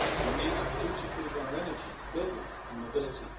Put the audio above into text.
We need to future proof our energy, buildings and mobility.